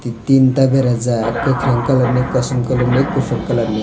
tinta berajak kwkhwrang colour ni kosom colour ni kuphur colour ni.